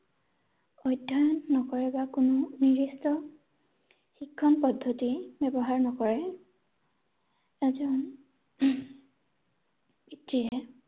অধ্যয়ন নকৰে বা কোনো নিদিৰ্ষ্ট শিক্ষন পদ্ধতি ব্যৱহাৰ নকৰে এজন পিতৃয়ে